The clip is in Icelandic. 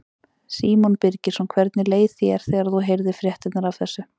Símon Birgisson: Hvernig leið þér þegar þú heyrðir fréttirnar af þessu?